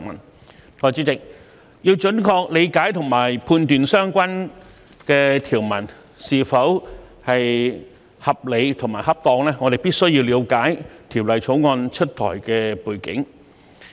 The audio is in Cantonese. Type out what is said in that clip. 代理主席，要準確理解和判斷相關條文是否合理和恰當，我們必須了解《條例草案》出台的背景。